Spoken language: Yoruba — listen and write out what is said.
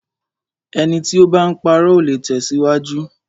Ẹni tí o bá ń parọ́, ò le tẹ̀síwájú.